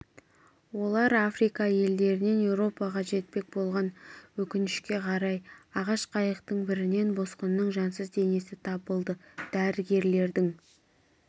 олар африка елдерінен еуропаға жетпек болған өкінішке қарай ағаш қайықтың бірінен босқынның жансыз денесі табылды дәрігерлердің